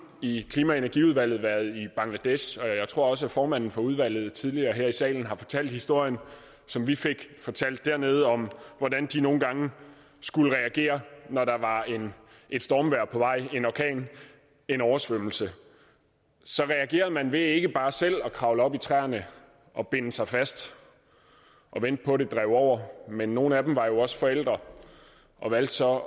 i klima og energiudvalget været i bangladesh og jeg tror også at formanden for udvalget tidligere her i salen har fortalt historien som vi fik fortalt dernede om hvordan de nogle gange skulle reagere når der var et stormvejr på vej en orkan en oversvømmelse så reagerede man ved ikke bare selv at kravle op i træerne og binde sig fast og vente på at det drev over men nogle af dem var jo også forældre og valgte så